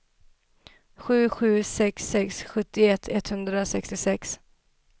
sju sju sex sex sjuttioett etthundrasextiosex